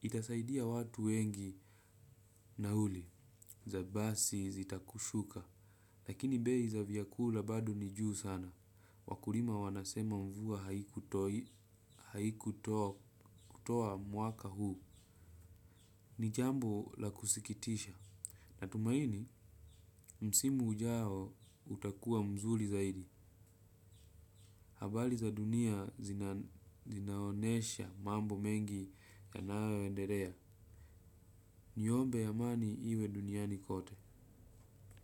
Itasaidia watu wengi nauli za basi zitakushuka. Lakini bei za vyakula bado ni juu sana. Wakulima wanasema mvua haikutoa mwaka huu, ni jambo la kusikitisha. Natumaini, msimu ujao utakua mzuli zaidi, habali za dunia zinaonesha mambo mengi yanayoenderea. Niombe amani iwe duniani kote.